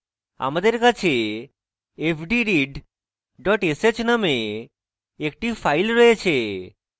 আমার কাছে fdread dot sh named একটি file রয়েছে